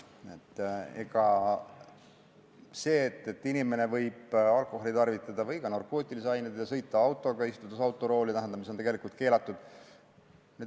Need riskid on, et inimene võib alkoholi või ka narkootilisi aineid tarvitada ja istuda autorooli, mis on tegelikult keelatud.